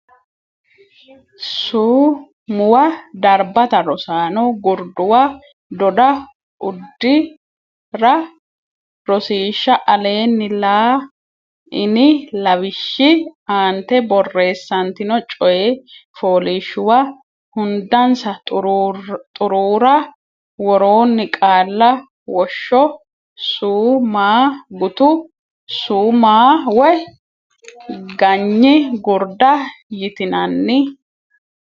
su muwa darbata rosaano Gurduwa doda uddi ra Rosiishsha Aleenni la ini lawishshi aante borreessantino coy fooliishshuwa hundansa xuruura worroonni qaalla woshsho su ma gutu su ma woy ganyi gurda yitinanni.